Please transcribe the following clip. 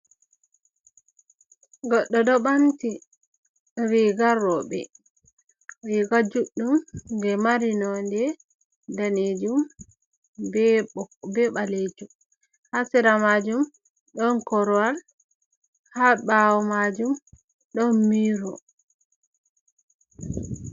Goɗɗo ɗo ɓanti riga roɓe riga juɗɗum je mari nonde danejum be ɓok be ɓalejum ha sera majum ɗon korowal ha ɓawo majum ɗon miiro.